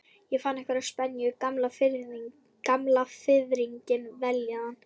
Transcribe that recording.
Ég fann einhverja spennu, gamla fiðringinn, vellíðan.